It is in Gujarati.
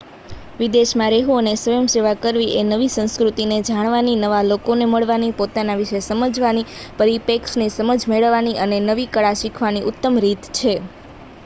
વિદેશ માં રહેવું અને સ્વયંસેવા કરવીએ નવી સંસ્કૃતિ ને જાણવાની નવા લોકો ને મળવાની પોતાના વિશે સમજવાની પરીપેક્ષની સમજ મેળવવાની અને નવી કળા શીખવાની ઉતમ રીત છે